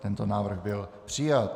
Tento návrh byl přijat.